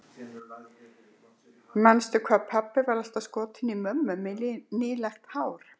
Manstu hvað pabbi var alltaf skotinn í mömmu með nýlagt hárið.